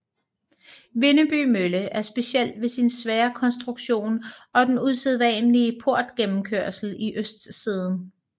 Vindeby Mølle er speciel ved sin svære konstruktion og den usædvanlige portgennemkørsel i østsiden